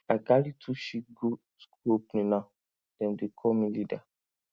i carry two sheep give school opening now dem dey call me leader